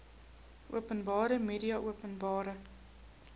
openbare media openbare